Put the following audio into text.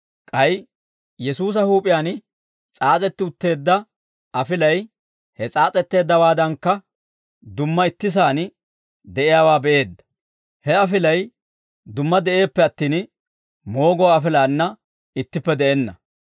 k'ay Yesuusa huup'iyaan s'aas'etti utteedda afilay he s'aas'etteeddawaadankka dumma itti sa'aan de'iyaawaa be'eedda; he afilay dumma de'eeppe attin, mooguwaa afilaanna ittippe de'enna.